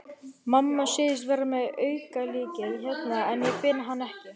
Mamma segist vera með aukalykil hérna en ég finn hann ekki.